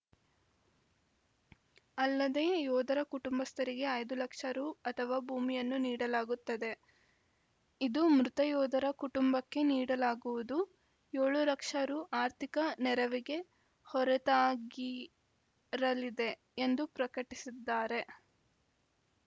ಅಲ್ಲದೇ ಯೋಧರ ಕುಟುಂಬಸ್ಥರಿಗೆ ಐದು ಲಕ್ಷ ರು ಅಥವಾ ಭೂಮಿಯನ್ನು ನೀಡಲಾಗುತ್ತದೆ ಇದು ಮೃತ ಯೋಧರ ಕುಟುಂಬಕ್ಕೆ ನೀಡಲಾಗುವು ಏಳು ಲಕ್ಷ ರು ಆರ್ಥಿಕ ನೆರವಿಗೆ ಹೊರತಾಗಿರಲಿದೆ ಎಂದು ಪ್ರಕಟಿಸಿದ್ದಾರೆ